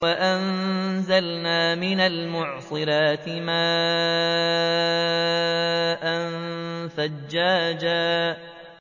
وَأَنزَلْنَا مِنَ الْمُعْصِرَاتِ مَاءً ثَجَّاجًا